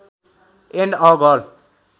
and a girl